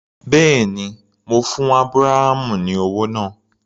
Bẹ́ẹ̀ni, mo fún Ábúráhámù ní owó náà.